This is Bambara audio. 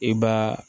I b'a